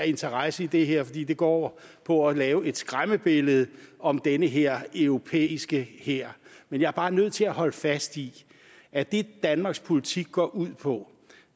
interesse i det her fordi det går på at lave et skræmmebillede om den her europæiske hær men jeg er bare nødt til at holde fast i at det danmarks politik går ud på